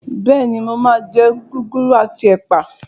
Bẹ́ẹ̀ni, mo máa jẹ gúgúrú àti ẹ̀pà